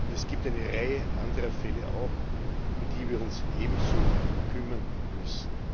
Es gibt auch eine Reihe anderer Fälle, um die wir uns ebenso kümmern müssen.